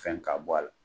Fɛn ka bɔ a la